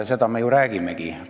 Seda me ju räägimegi!